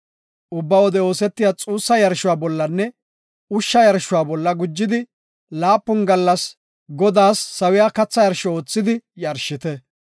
Ubba wode oosetiya xuussa yarshuwa bollanne ushsha yarshuwa bolla gujidi laapun gallasi Godaas sawiya katha yarsho oothidi yarshite.